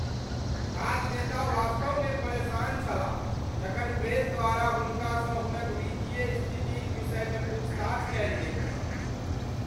राजनेता वास्तवमे परेशान छलाह जखन प्रेस द्वारा हुनकासँ हुनक वित्तीय स्थितिक विषयमे पूछताछ कयल गेल छल।